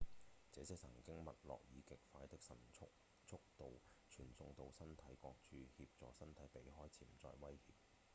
這些神經脈衝以極快的速度傳送到身體各處協助身體避開潛在威脅